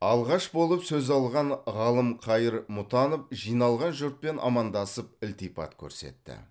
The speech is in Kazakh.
алғаш болып сөз алған ғалымқайыр мұтанов жиналған жұртпен амандасып ілтипат көрсетті